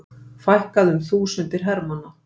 Fækkað um þúsundir hermanna